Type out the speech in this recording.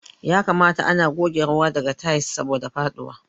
Ya kamata ana goge ruwa daga tayal saboda faduwa.